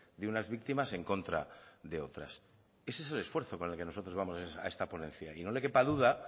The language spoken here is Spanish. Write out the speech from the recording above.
de unas víctimas en contra de otras ese es el esfuerzo con el que nosotros vamos a esta ponencia y no le quepa duda